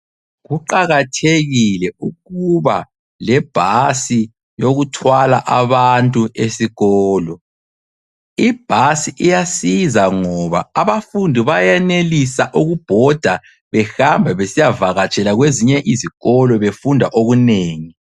Kuqakathekile ukuba lebhasi yokuthwala abantu esikolo. Ibhasi iyasiza ngoba abafundi bayenelisa ukubhoda behamba besiyavakatshela kwezinye izikolo befunda okunengi.